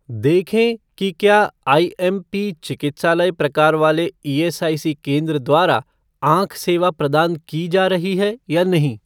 देखें कि क्या आईएमपी चिकित्सालय प्रकार वाले ईएसआईसी केंद्र द्वारा आँख सेवा प्रदान की जा रही है या नहीं?